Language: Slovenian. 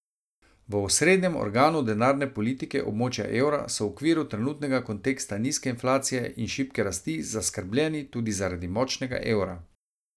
V osrednjem organu denarne politike območja evra so v okviru trenutnega konteksta nizke inflacije in šibke rasti zaskrbljeni tudi zaradi močnega evra.